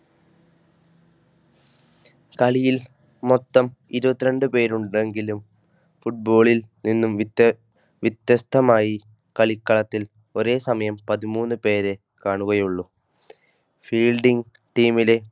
കളിയിൽ മൊത്തം ഇരുപത്തിരണ്ട് പേരുണ്ടെങ്കിലും Football ൽ നിന്നും വിത്യ വ്യത്യസ്തമായികളിക്കളത്തിൽ ഒരേസമയം പതിമൂന്ന് പേരെ കാണുകയുള്ളൂ. Fielding team ലെ